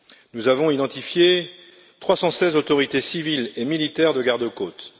Nous avons identifié 316 autorités civiles et militaires de garde côtes.